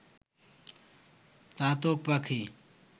চাতক পাখি